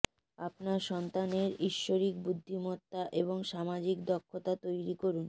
আপনার সন্তানের ইশ্বরিক বুদ্ধিমত্তা এবং সামাজিক দক্ষতা তৈরি করুন